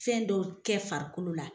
Fɛn dɔw tɛ farikolo la